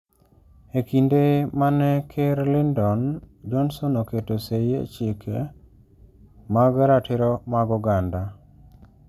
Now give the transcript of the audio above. E kinde mane Ker Lyndon Johnson oketo sei e Chike mag Ratiro mag Oganda